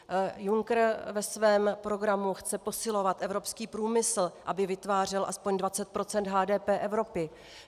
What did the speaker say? Juncker ve svém programu chce posilovat evropský průmysl, aby vytvářel aspoň 20 % HDP Evropy.